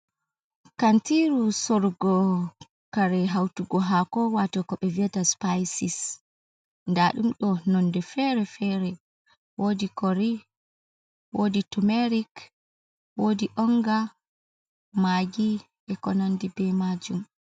Kantiru, sorrugo kare hautugo haako wato ko ɓe viyata spisis, daɗumɗo nonde fere-fere, wodi kori, wodi tumerik, wodi onga, maagi ekonandi e be majuum.